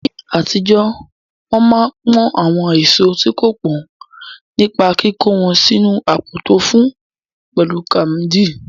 Ní àtijọ́, wọn máa ń pọ́n àwọn èso tí kò pọ́n nípa kíkó wọn sínu àpò tó fún, pẹ̀lú káàmdì.